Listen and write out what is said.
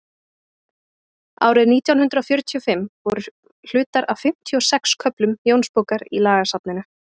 árið nítján hundrað fjörutíu og fimm voru hlutar af fimmtíu og sex köflum jónsbókar í lagasafninu